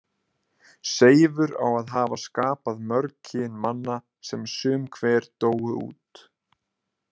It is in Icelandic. Seifur á að hafa skapað mörg kyn manna sem sum hver dóu út.